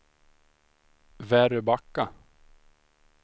Väröbacka